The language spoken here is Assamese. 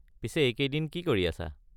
পিছে এইকেইদিন কি কৰি আছা?